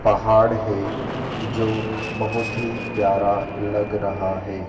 पहाड़ है जो बहोत ही प्यारा लग रहा है।